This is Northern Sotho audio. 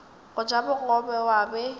go ja bogobe wa be